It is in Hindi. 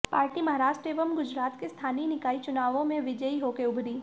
पार्टी महाराष्ट्र एवं गुजरात के स्थानीय निकाय चुनावों में विजयी होकर उभरी